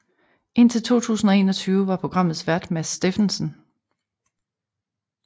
Indtil 2021 var programmets vært Mads Steffensen